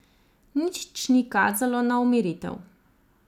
Nič ni kazalo na umiritev.